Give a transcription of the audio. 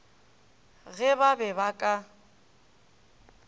ge ba be ba ka